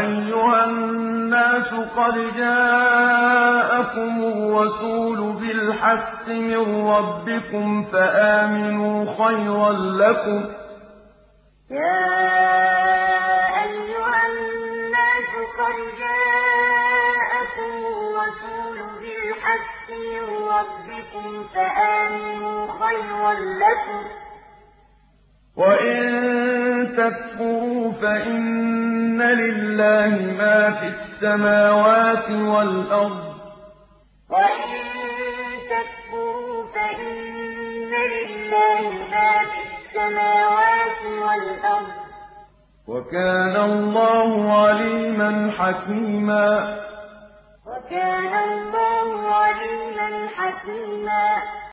أَيُّهَا النَّاسُ قَدْ جَاءَكُمُ الرَّسُولُ بِالْحَقِّ مِن رَّبِّكُمْ فَآمِنُوا خَيْرًا لَّكُمْ ۚ وَإِن تَكْفُرُوا فَإِنَّ لِلَّهِ مَا فِي السَّمَاوَاتِ وَالْأَرْضِ ۚ وَكَانَ اللَّهُ عَلِيمًا حَكِيمًا يَا أَيُّهَا النَّاسُ قَدْ جَاءَكُمُ الرَّسُولُ بِالْحَقِّ مِن رَّبِّكُمْ فَآمِنُوا خَيْرًا لَّكُمْ ۚ وَإِن تَكْفُرُوا فَإِنَّ لِلَّهِ مَا فِي السَّمَاوَاتِ وَالْأَرْضِ ۚ وَكَانَ اللَّهُ عَلِيمًا حَكِيمًا